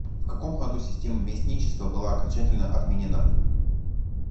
в каком году система местничества была окончательно отменена